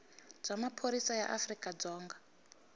bya maphorisa ya afrika dzonga